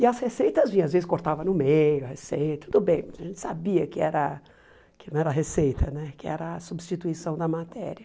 E as receitas vinha, às vezes cortava no meio a receita, tudo bem, a gente sabia que era que não era receita né, que era a substituição da matéria.